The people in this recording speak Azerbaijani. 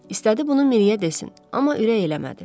İstədi bunu Miriyə desin, amma ürək eləmədi.